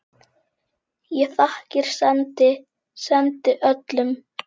Ég þakkir sendi, sendi öllum.